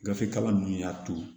Gafe kalan ninnu y'a to